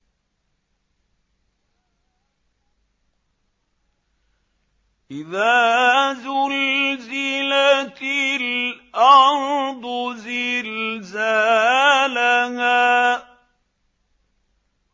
إِذَا زُلْزِلَتِ الْأَرْضُ زِلْزَالَهَا